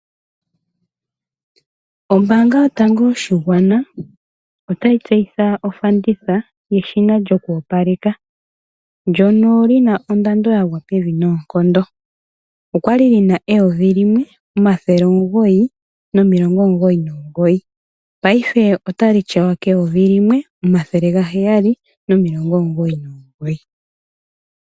Ombanga yotango yoshingwana otayi tseyitha ofanditha yedhina lyokopaleka ndono lina oondando yangwa pevi nonkondo okwali lina 1,999 payife otali tyawa 1,799.